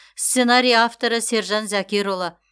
сценарий авторы сержан зәкерұлы